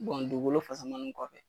dugukolo kɔfɛ.